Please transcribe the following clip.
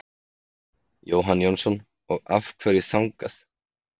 Jóhann Jóhannsson: Og af hverju þangað?